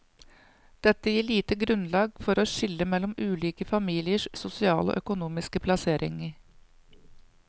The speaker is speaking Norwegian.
Dette gir lite grunnlag for å skille mellom ulike familiers sosiale og økonomiske plassering.